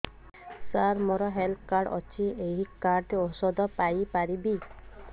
ସାର ମୋର health card ଅଛି ଏହି କାର୍ଡ ରେ ଔଷଧ ପାଇପାରିବି